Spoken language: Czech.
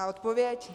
A odpověď?